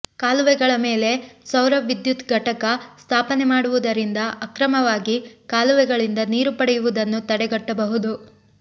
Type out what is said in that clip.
ಕಾಲುವೆಗಳ ಮೇಲೆ ಸೌರ ವಿದ್ಯುತ್ ಘಟಕ ಸ್ಥಾಪನೆ ಮಾಡುವುದರಿಂದ ಅಕ್ರಮವಾಗಿ ಕಾಲುವೆಗಳಿಂದ ನೀರು ಪಡೆಯುವುದನ್ನು ತಡೆಗಟ್ಟಬಹುದು